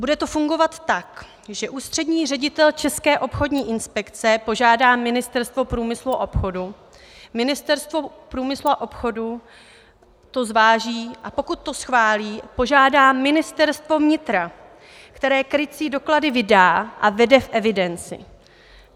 Bude to fungovat tak, že ústřední ředitel České obchodní inspekce požádá Ministerstvo průmyslu a obchodu, Ministerstvo průmyslu a obchodu to zváží, a pokud to schválí, požádá Ministerstvo vnitra, které krycí doklady vydá a vede v evidenci.